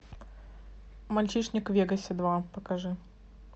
мальчишник в вегасе два покажи